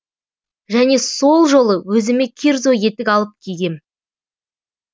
және сол жолы өзіме кирзо етік алып кигем